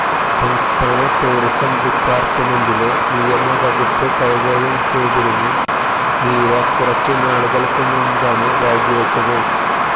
സംസ്ഥാന ടൂറിസം ഡിപ്പാർട്ട്മെന്റിലെ നിയമവകുപ്പ് കൈകാര്യം ചെയ്തിരുന്ന മീര കുറച്ച് നാളുകൾക്ക് മുമ്പാണ് രാജിവച്ചത്